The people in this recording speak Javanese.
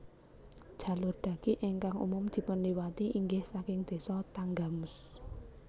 Jalur dhaki ingkang umum dipun liwati inggih saking Désa Tanggamus